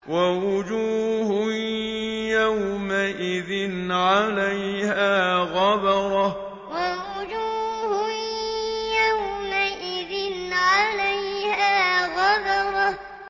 وَوُجُوهٌ يَوْمَئِذٍ عَلَيْهَا غَبَرَةٌ وَوُجُوهٌ يَوْمَئِذٍ عَلَيْهَا غَبَرَةٌ